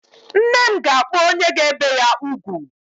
Nne m ga-akpọ onye ga-ebe ya ugwu.